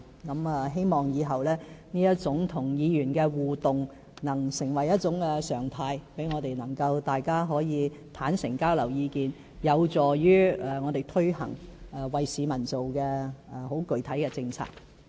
我希望以後這種與議員的互動能成為常態，讓我們可以互相坦誠地交流意見，有助於我們推行為市民而做的具體政策。